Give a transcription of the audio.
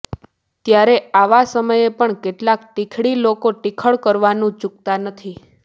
ત્યારે આવા સમયે પણ કેટલાક ટીખળી લોકો ટીખળ કરવાનું ચૂકતા નથી